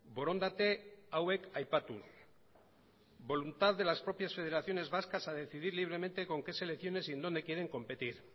borondate hauek aipatuz voluntad de las propias federaciones vascas a decidir libremente con qué selecciones y en dónde quieren competir